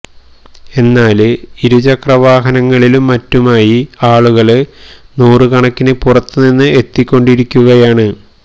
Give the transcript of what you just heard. എന്നാല് ഇരു ചക്ര വാഹനങ്ങളിലും മറ്റുമായി ആളുകള് നൂറുകണക്കിന് പുറത്ത് നിന്ന് എത്തിക്കൊണ്ടിരിക്കുകയാണ്